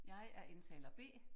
Jeg er indtaler B